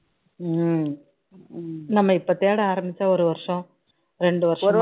நம்ம இப்போ தேட ஆரம்பிச்சா ஒரு வருஷம் இரண்டு வருஷம்